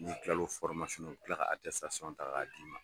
Ni n tila l'o u bɛ tila ka ta k' a d'i ma